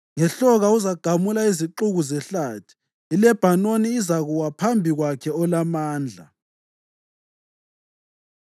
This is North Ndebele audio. Ngehloka uzagamula izixuku zehlathi; iLebhanoni izakuwa phambi kwakhe olaMandla.